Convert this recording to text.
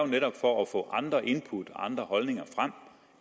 netop for at få andre input andre holdninger frem